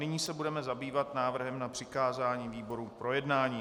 Nyní se budeme zabývat návrhem na přikázání výborům k projednání.